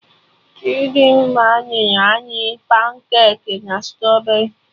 Chidimma nyere anyị pancaki na straberri